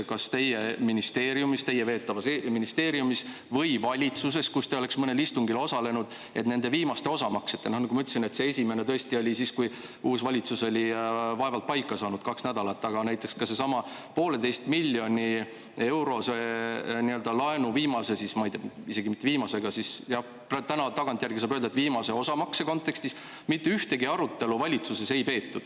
Kas teie veetavas ministeeriumis või mõnel valitsuse istungil, kus te osalesite, nende viimaste osamaksete üle – nagu ma ütlesin, see esimene tõesti oli siis, kui uus valitsus oli vaevalt kaks nädalat tagasi paika saanud –, näiteks sellesama poolteise miljoni eurose laenu viimase osamakse kontekstis, mitte ühtegi arutelu ei peetud?